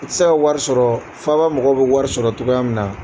I tɛ se ka wari sɔrɔ faaba mɔgɔw bɛ wari sɔrɔ cogoya min na.